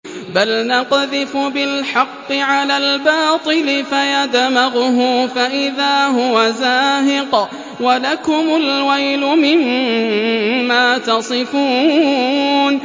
بَلْ نَقْذِفُ بِالْحَقِّ عَلَى الْبَاطِلِ فَيَدْمَغُهُ فَإِذَا هُوَ زَاهِقٌ ۚ وَلَكُمُ الْوَيْلُ مِمَّا تَصِفُونَ